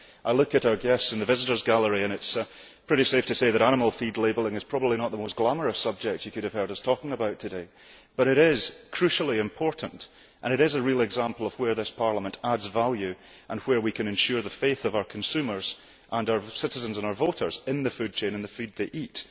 Looking at our guests in the visitors' gallery, it is pretty safe to say that animal feed labelling is probably not one of the most glamorous subjects they could have heard us talking about today, but it is crucially important and it is a real example of where this Parliament adds value, and where we can ensure our consumers', our citizens' and our voters' faith in the food chain of the food they eat.